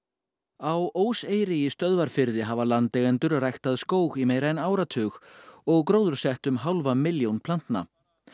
á í Stöðvarfirði hafa landeigendur ræktað skóg í meira en áratug og gróðursett um hálfa miljón plantna